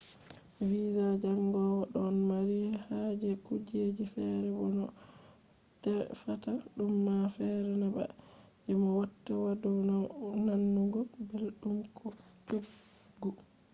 visa jangowo ɗon mari haje kujeji feere bo no a tefata ɗum ma feere na ba je mo watta yadu nanugo belɗum ko coggu